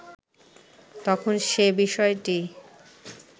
তখন সে বিষয়টি